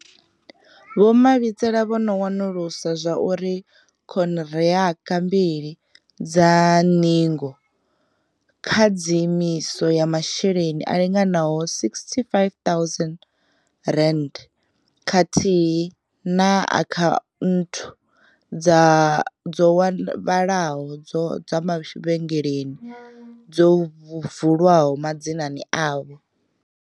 Vho Mabitsela vho no wanulusa zwa uri khonihiraka mbili dza ṅingo, khadzimiso ya masheleni a linganaho R65 000 khathihi na akhaunthu dzo vhalaho dza mavhengeleni zwo vulwa madzinani avho.